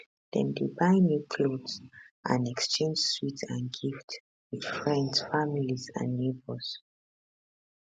dem dey buy new clothes and exchange sweets and gifts wit friends families and neighbours